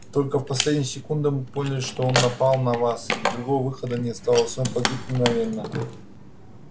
только в последнюю секунду мы поняли что он напал на вас и другого выхода не осталось он погиб мгновенно